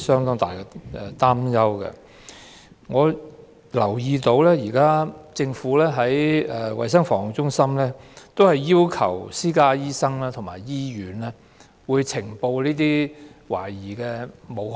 我留意到，政府的衞生防護中心現在只要求私家醫生和醫院呈報武漢肺炎懷疑個案。